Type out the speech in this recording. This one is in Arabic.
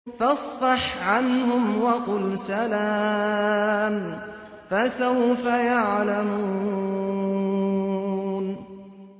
فَاصْفَحْ عَنْهُمْ وَقُلْ سَلَامٌ ۚ فَسَوْفَ يَعْلَمُونَ